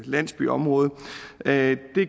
landsbyområde det